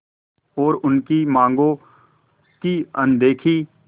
और उनकी मांगों की अनदेखी